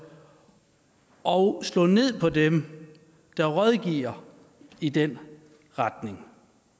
og slå ned på dem der rådgiver i den retning